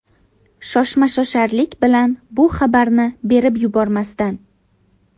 Shoshma-shosharlik bilan bu xabarni berib yubormasdan.